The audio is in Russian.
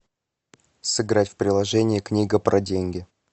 сыграть в приложение книга про деньги